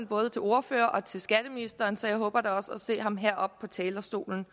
både til ordførere og til skatteministeren så jeg håber da også at se ham heroppe på talerstolen